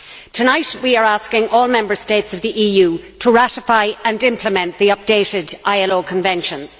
Tonight we are asking all Members States of the EU to ratify and implement the updated ILO conventions